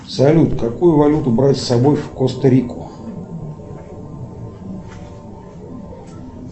салют какую валюту брать с собой в коста рику